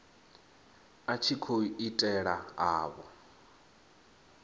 a tshi khou itela avho